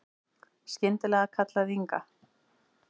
Skyndilega kallaði Inga